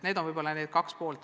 Need on need kaks poolt.